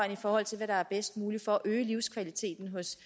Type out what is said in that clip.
i forhold til hvad der er bedst muligt for at øge livskvaliteten hos